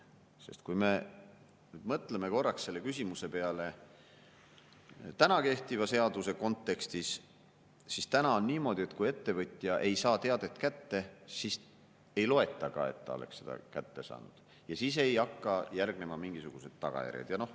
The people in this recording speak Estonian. Sest kui me nüüd mõtleme korraks selle küsimuse peale kehtiva seaduse kontekstis, siis täna on niimoodi, et kui ettevõtja ei saa teadet kätte, siis ei loeta ka, et ta oleks selle kätte saanud, ja siis ei hakka järgnema mingisuguseid tagajärgi.